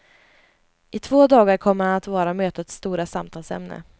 I två dagar kommer han att vara mötets stora samtalsämne.